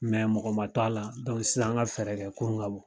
mɔgɔ man to a la sisan an ka fɛɛrɛ kɛ kurun ka bɔ.